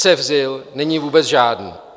Cefzil není vůbec žádný.